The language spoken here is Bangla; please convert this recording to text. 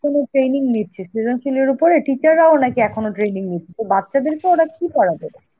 এখনো training নিচ্ছে, সৃজনশীলতার উপরে teacher রাও নাকি এখনো training নিচ্ছে, তো বাচ্চাদেরকে ওরা কি পড়াবে?